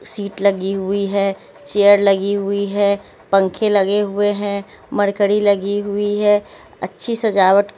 seat लगी हुई है चेयर लगी हुई है पंखे लगे हुए हैं मरकड़ी लगी हुई है अच्छी सजावट--